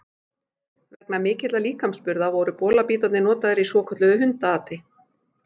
Vegna mikilla líkamsburða, voru bolabítarnir notaðir í svokölluðu hundaati.